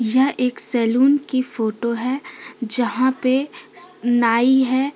यह एक सैलून की फोटो है जहा पे नाई है।